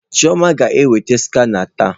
Chioma ga-eweta skana taa.